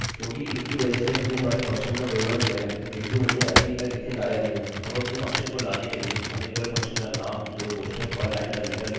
अब अपने फंक्शनfunction को लाने के लिए हमें केवल फंक्शनfunction का नाम 2 कोष्ठक और लाइनline टर्मिनेटरterminator लिखना होगा